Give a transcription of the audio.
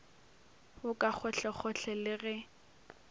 wo ka gohlegohle le ge